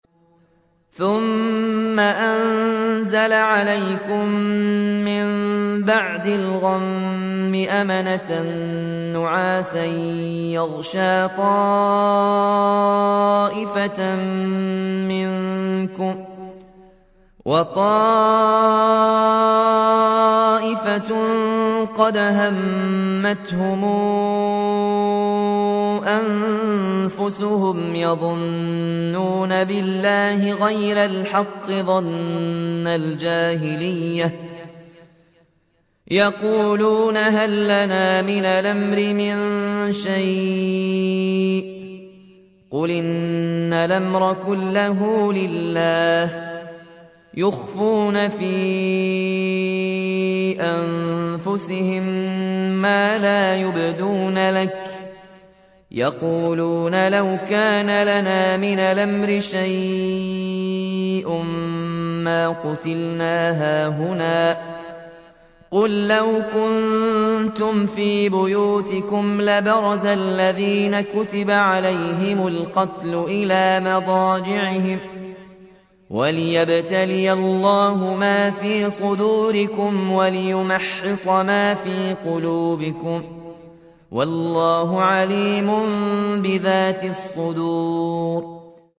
ثُمَّ أَنزَلَ عَلَيْكُم مِّن بَعْدِ الْغَمِّ أَمَنَةً نُّعَاسًا يَغْشَىٰ طَائِفَةً مِّنكُمْ ۖ وَطَائِفَةٌ قَدْ أَهَمَّتْهُمْ أَنفُسُهُمْ يَظُنُّونَ بِاللَّهِ غَيْرَ الْحَقِّ ظَنَّ الْجَاهِلِيَّةِ ۖ يَقُولُونَ هَل لَّنَا مِنَ الْأَمْرِ مِن شَيْءٍ ۗ قُلْ إِنَّ الْأَمْرَ كُلَّهُ لِلَّهِ ۗ يُخْفُونَ فِي أَنفُسِهِم مَّا لَا يُبْدُونَ لَكَ ۖ يَقُولُونَ لَوْ كَانَ لَنَا مِنَ الْأَمْرِ شَيْءٌ مَّا قُتِلْنَا هَاهُنَا ۗ قُل لَّوْ كُنتُمْ فِي بُيُوتِكُمْ لَبَرَزَ الَّذِينَ كُتِبَ عَلَيْهِمُ الْقَتْلُ إِلَىٰ مَضَاجِعِهِمْ ۖ وَلِيَبْتَلِيَ اللَّهُ مَا فِي صُدُورِكُمْ وَلِيُمَحِّصَ مَا فِي قُلُوبِكُمْ ۗ وَاللَّهُ عَلِيمٌ بِذَاتِ الصُّدُورِ